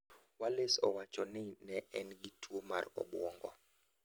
Wallace owacho ni ne en gi tuo mar obuongo.